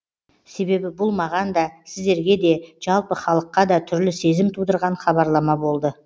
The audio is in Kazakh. себебі бұл маған да сіздерге де жалпы халыққа да түрлі сезім тудырған хабарлама болды